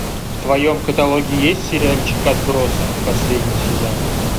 в твоем каталоге есть сериальчик отбросы последний сезон